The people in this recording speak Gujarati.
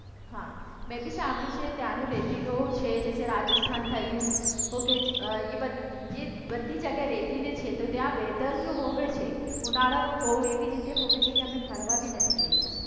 હા મેં બી સાંભળ્યું છે ત્યાંનું રેતીનું છે જે છે રાજસ્થાન થયું ઓક એ બધી જગ્યાએ રેતી જ હોવે છે તો ત્યાં વેધર જો હોવે છે ઉનાળાનું બઉ એવી રીતે હોવે છે કે અમે ફરવા પણ નથી જઈ સકતા.